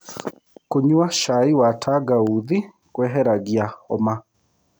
Kũnyua cai wa tangaũthĩ kweheragĩa homa